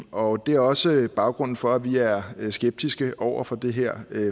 og det er også baggrunden for at vi er skeptiske over for det her